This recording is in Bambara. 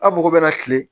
Aw mago bɛ na kile